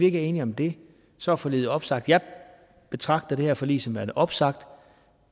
ikke er enige om det så er forliget opsagt jeg betragter det her forlig som værende opsagt